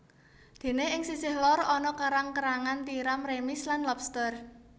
Dene ing sisih lor ana kerang kerangan tiram remis lan lobster